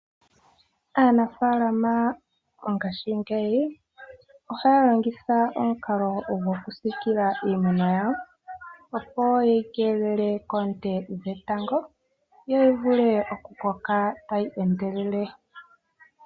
Aanafaalama mongashingeyi ohaya longitha omukalo gokusiikila iimeno yawo opo ye yi keelele koonte dhetango yo yi vule okukoka tayi endelele.